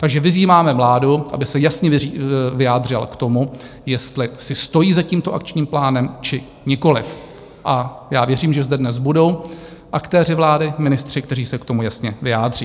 Takže vyzýváme vládu, aby se jasně vyjádřila k tomu, jestli si stojí za tímto Akčním plánem, či nikoliv, a já věřím, že zde dnes budou aktéři vlády, ministři, kteří se k tomu jasně vyjádří.